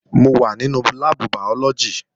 Mò wà nínú láàbù bàyọ́lọ́gì